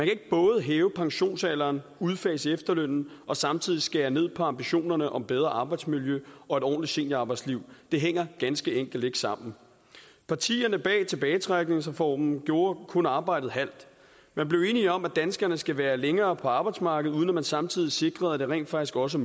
ikke både hæve pensionsalderen udfase efterlønnen og samtidig skære ned på ambitionerne om bedre arbejdsmiljø og et ordentligt seniorarbejdsliv det hænger ganske enkelt ikke sammen partierne bag tilbagetrækningsreformen gjorde kun arbejdet halvt man blev enige om at danskerne skal være længere på arbejdsmarkedet uden at man samtidig sikrede at det rent faktisk også